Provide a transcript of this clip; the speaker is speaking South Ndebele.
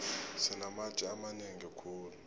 sinamatje amanengi khulu